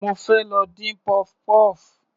Mo fẹ́ lọ dín puff puff.